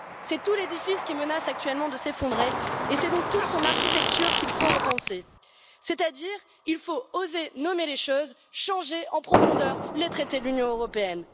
C'est tout l'édifice qui menace actuellement de s'effondrer et c'est donc toute son architecture qu'il faut repenser, c'est à dire qu'il faut oser nommer les choses changer en profondeur les traités de l'Union européenne.